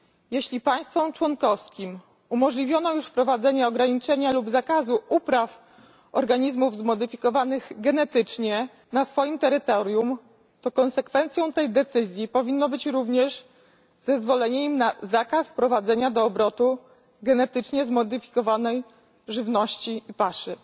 Jeśli państwom członkowskim umożliwiono już wprowadzenie ograniczenia lub zakazu upraw organizmów zmodyfikowanych genetycznie na swoim terytorium, to konsekwencją tej decyzji powinno być również zezwolenie im na zakaz wprowadzania do obrotu genetycznie zmodyfikowanej żywności i paszy.